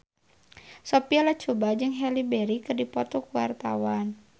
Sophia Latjuba jeung Halle Berry keur dipoto ku wartawan